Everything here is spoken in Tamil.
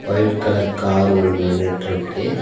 ஒயிட் கலர் கார் ஒன்னு நின்னுட்டுருக்கு.